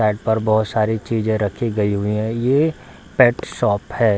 Side पर बहोत सारी चीजे रखी हुई गयी है ये पेट शॉप है।